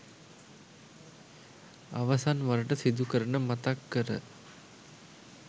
අවසන්වරට සිදු කරන මතක්කර